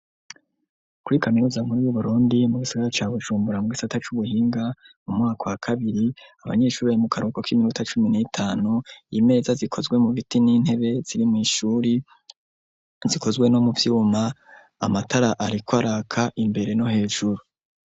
Kuri kaminuza nkuru yu Burundi, mu gisagara ca Bujumbura mugisaata c'ubuhinga mu mwaka wa kabir,i abanyeshuri bai mu karuboko k'iminuta cumi n'itanu iyimeza zikozwe mu biti n'intebe ziri mw'ishuri, zikozwe no mu vyuma amatara ariko araka imbere no hejuru.